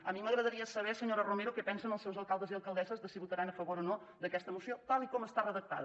a mi m’agradaria saber senyora romero què pensen els seus alcaldes i alcaldesses de si votaran a favor o no d’aquesta moció tal com està redactada